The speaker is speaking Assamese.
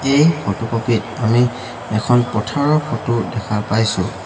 এই ফটোকপি ত আমি এখন পথাৰৰ ফটো দেখা পাইছোঁ।